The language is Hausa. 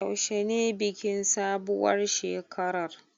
Yaushe ne bikin sabuwar shekarar.